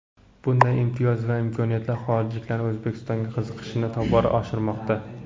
Bunday imtiyoz va imkoniyatlar xorijliklarning O‘zbekistonga qiziqishini tobora oshirmoqda.